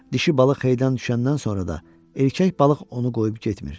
Dişi balıq heytdan düşəndən sonra da erkək balıq onu qoyub getmir.